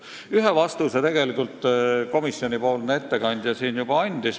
Ühe vastuse tegelikult komisjoni ettekandja siin andis.